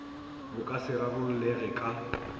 bo ka se rarollege ka